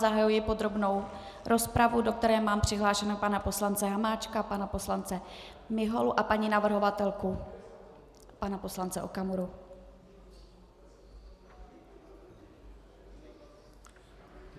Zahajuji podrobnou rozpravu, do které mám přihlášeného pana poslance Hamáčka, pana poslance Miholu a paní navrhovatelku, pana poslance Okamuru.